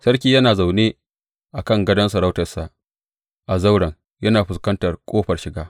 Sarki yana zaune a kan gadon sarautarsa a zauren, yana fuskantar ƙofar shiga.